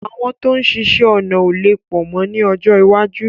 Àwọn tó ń ṣiṣẹ́ ọnà ó lè pọ̀ mọ́ ni ọjọ́ iwájú